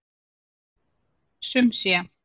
Sum sé.